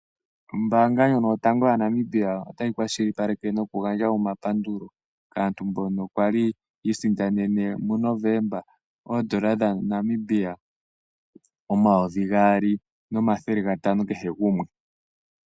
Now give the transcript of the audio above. Ombaanga ndjono yotango yaNamibia otayi kwashilipaleke nokugandja omapandulo kaantu mboka yali yiisindanene muNovemba oondola dhaNamibia omayovi gaali nomathele gatano kehe gumwe.